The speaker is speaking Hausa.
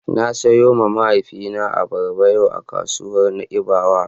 Na siyowa mahaifina abarba yau a kasuwar Na'ibawa.